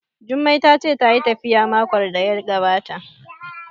Jummai ta ce tayi tafiya makon da ya gabata